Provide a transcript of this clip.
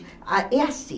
Ah é assim.